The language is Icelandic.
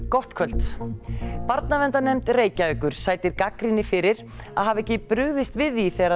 gott kvöld barnaverndarnefnd Reykjavíkur sætir gagnrýni fyrir að hafa ekki brugðist við því þegar